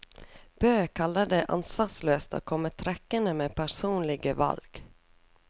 Bø kaller det ansvarsløst å komme trekkende med personlige valg.